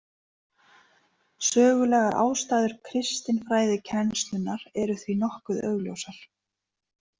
Sögulegar ástæður kristinfræðikennslunnar eru því nokkuð augljósar.